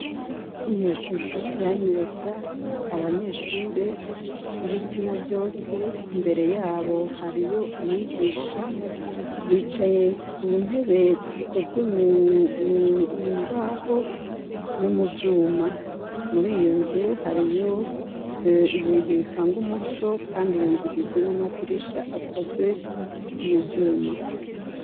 Iyo shusho iranyereka abanyeshure b'ibitsina vyose, imbere yabo hariyo umwigisha, bicaye ku ntebe zikozwe mu mbaho no mu vyuma; muri iyo nzu hariyo ibintu bitanga umuco kandi iyo nzu igizwe n'amadirisha akozwe mu vyuma.